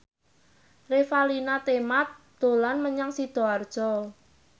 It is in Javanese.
Revalina Temat dolan menyang Sidoarjo